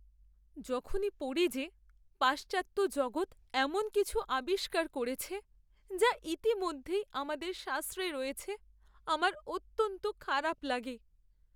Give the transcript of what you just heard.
যখনই পড়ি যে পাশ্চাত্য জগত এমন কিছু আবিষ্কার করেছে যা ইতিমধ্যেই আমাদের শাস্ত্রে রয়েছে, আমার অত্যন্ত খারাপ লাগে।